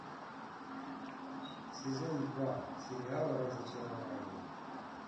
сезон два сериала разочарование